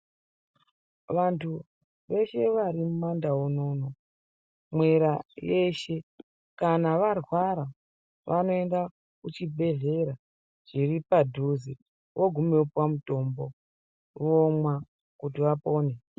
Vantu veshe vari mumandau munomu mwera yeshe kana varwara vanoenda kuchibhehlera chiri padhuze voguma vopiwa mutombo vomwa kuti vapore.